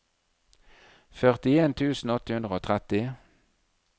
førtien tusen åtte hundre og tretti